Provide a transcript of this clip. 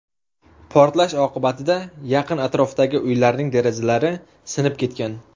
Portlash oqibatida yaqin-atrofdagi uylarning derazalari sinib ketgan.